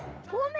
komið